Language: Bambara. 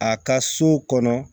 A ka so kɔnɔ